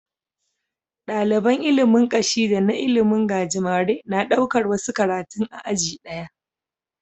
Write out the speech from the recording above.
Daliban ilimin Kashi da na ilimin gajimare na ɗaukar wasu karatun a aji daya